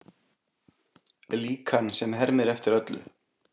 Líkan sem hermir eftir öllu